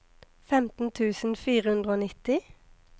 femten tusen fire hundre og nitti